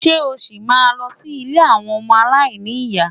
Ṣé o ṣì máa lọ sí ilé àwọn ọmọ aláìní ìyá?